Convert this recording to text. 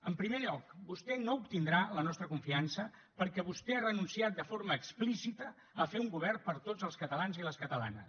en primer lloc vostè no obtindrà la nostra confiança perquè vostè ha renunciat de forma explícita a fer un govern per a tots els catalans i les catalanes